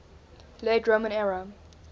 late roman era